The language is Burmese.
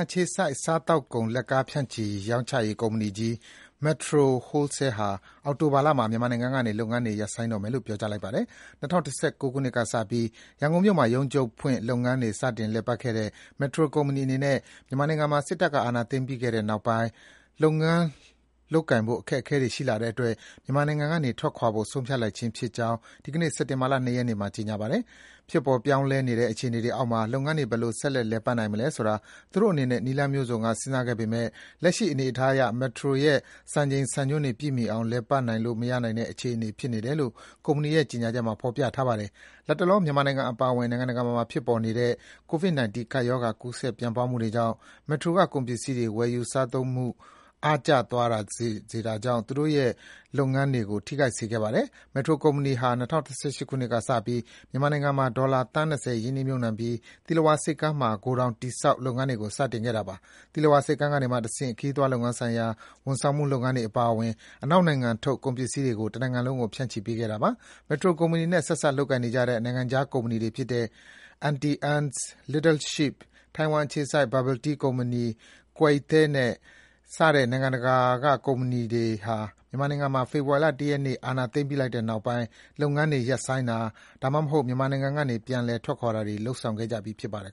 အခြေစိုက် စားသောက်ကုန် လက်ကားဖြန့်ချိရောင်းချရေးကုမ္ပဏီ Metro Wholesale က အောက်တိုဘာလမှာ မြန်မာနိုင်ငံကလုပ်ငန်းတွေ ရပ်ဆိုင်းတော့မယ်လို့ ကြေညာလိုက်ပါတယ်။ ၂၀၁၉ ခုနှစ်ကစပြီး ရန်ကုန်မြို့မှာ ရုံးချုပ်ဖွင့်ပြီး လုပ်ငန်းတွေ စတင်လည်ပတ်ခဲ့တဲ့ Metro ကုမ္ပဏီအနေနဲ့ မြန်မာနိုင်ငံမှာ စစ်တပ်က အာဏာသိမ်းပြီးတဲ့နောက်ပိုင်း လုပ်ငန်းလုပ်ကိုင်ဖို့ အခက်အခဲတွေရှိလာတဲ့အတွက် မြန်မာနိုင်ငံကနေ ထွက်ခွာသွားဖို့ ဆုံးဖြတ်လိုက်ခြင်းဖြစ်ကြောင်း ဒီကနေ့ စက်တင်ဘာလ ၂ ရက်နေ့မှာ ကြေညာပါတယ်။ ဖြစ်ပေါ်ပြောင်းလဲနေတဲ့ အခြေအနေတွေအောက်မှာ လုပ်ငန်းတွေ ဘယ်လို ဆက်လက်လည်ပတ်နိုင်မလဲဆိုတာ သူတို့အနေနဲ့ နည်းလမ်းမျိုးစုံက စဉ်းစားခဲ့ပေမယ့် လက်ရှိအနေအထားအရ Metro ရဲ့ စံချိန်စံညွှန်းတွေပြည့်မီအောင် လည်ပတ်လို့မရနိုင်တဲ့ အခြေအနေ ဖြစ်နေတယ်လို့ ကုမ္ပဏီရဲ့ ကြေညာချက်မှာ ဖော်ပြထားပါတယ်။ လတ်တလော မြန်မာနိုင်ငံအပါအဝင် နိုင်ငံတကာမှာ ဖြစ်ပေါ်နေတဲ့ ကိုဗစ်-၁၉ ကပ်ရောဂါ ကူးစက် ပြန့်ပွားမှုကြောင့် Metro က ကုန်ပစ္စည်းတွေ ဝယ်ယူစားသုံးမှု အားကျသွားစေတာကြောင့် သူတို့ရဲ့ လုပ်ငန်းတွေကို ထိခိုက်စေခဲ့ပါတယ်။ Metro ကုမ္ပဏီဟာ ၂၀၁၈ ခုနှစ်ကစပြီး မြန်မာနိုင်ငံမှာ ဒေါ်လာ သန်း ၂၀ ရင်းနှီးမြုပ်နှံပြီး သီလဝါဆိပ်ကမ်းမှာ ဂိုဒေါင်တည်ဆောက်ပြီး လုပ်ငန်းတွေကို စတင်ခဲ့တာပါ။ သီလဝါဆိပ်ကမ်းကနေမှတဆင့် ခရီးသွားလုပ်ငန်းဆိုင်ရာ ဝန်ဆောင်မှုလုပ်ငန်းတွေအပါအဝင် အနောက်နိုင်ငံထုတ် ကုန်ပစ္စည်းတွေကို တနိုင်ငံလုံးကို ဖြန့်ချိပေးခဲ့တာပါ။ Metro ကုမ္ပဏီနဲ့ ဆက်စပ်လုပ်ကိုင်နေတဲ့ နိုင်ငံခြားကုမ္ပဏီတွေဖြစ်တဲ့ Antie Anne’s ၊ Little Sheep ၊ ထိုင်ဝမ်အခြေစိုက် Bubble Tea ကုမ္ပဏီ Koi Thé စတဲ့ ကုမ္ပဏီတွေအပါအဝင် နိုင်ငံခြားကုမ္ပဏီတချို့ဟာ မြန်မာနိုင်ငံမှာ ဖေဖော်ဝါရီလ ၁ ရက်နေ့က အာဏာသိမ်းလိုက်ပြီးတဲ့နောက်ပိုင်း လုပ်ငန်းတွေ ရပ်ဆိုင်းတာ၊ ဒါမှမဟုတ် မြန်မာနိုင်ငံကနေ ပြန်လည် ထွက်ခွာတွေ လုပ်ဆောင်ခဲ့ကြပြီး ဖြစ်ပါတယ်